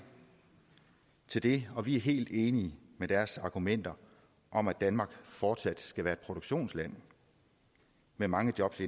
til det og vi er helt enige i deres argumenter om at danmark fortsat skal være et produktionsland med mange jobs